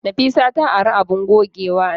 Nafisa ta ari abun gogewana.